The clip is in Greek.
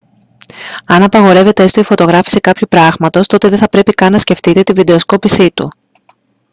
αν απαγορεύεται έστω η φωτογράφιση κάποιου πράγματος τότε δεν θα πρέπει καν να σκεφτείτε τη βιντεοσκόπησή του